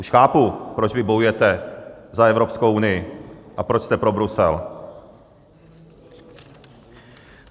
- Už chápu, proč vy bojujete za Evropskou unii a proč jste pro Brusel.